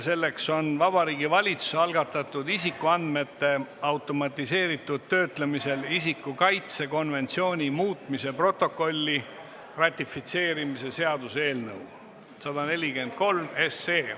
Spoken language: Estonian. Selleks on Vabariigi Valitsuse algatatud isikuandmete automatiseeritud töötlemisel isiku kaitse konventsiooni muutmise protokolli ratifitseerimise seaduse eelnõu 143.